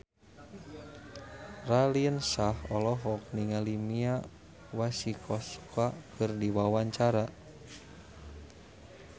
Raline Shah olohok ningali Mia Masikowska keur diwawancara